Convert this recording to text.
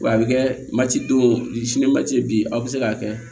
Wa a bɛ kɛ mati don sini ma ci bin aw bɛ se k'a kɛ